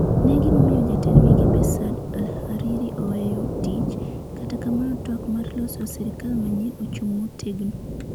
Ne gimiyo Jatend Migepe, Saad al-Hariri oweyo tich, kata kamano twak mar loso sirkal manyien ochung' motegno.